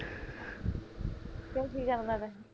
ਕਿਓ ਕੀ ਕਰਨਾ ਤੈ